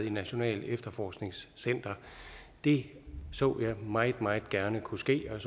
i nationalt efterforskningscenter det så jeg meget meget gerne kunne ske og